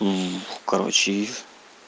короче из